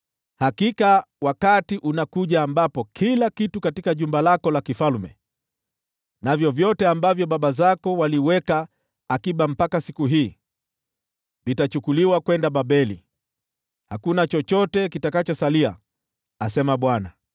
Hakika wakati unakuja ambapo vitu vyote katika jumba lako la kifalme, na vyote ambavyo baba zako waliweka akiba mpaka siku hii, vitachukuliwa kwenda Babeli. Hakuna chochote kitakachosalia, asema Bwana .